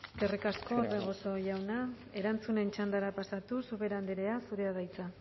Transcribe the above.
eskerrik asko orbegozo jauna erantzunen txandara pasatuz ubera andrea zurea da hitza